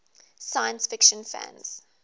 science fiction fans